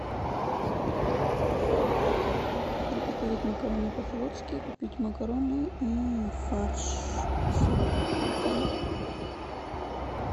приготовить макароны по флотски купить макароны и фарш с луком